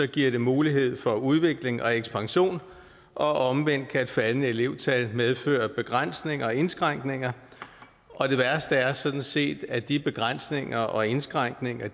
giver det mulighed for udvikling og ekspansion og omvendt kan et faldende elevtal medføre begrænsninger og indskrænkninger og det værste er sådan set at de begrænsninger og indskrænkninger